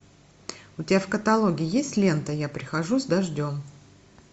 у тебя в каталоге есть лента я прихожу с дождем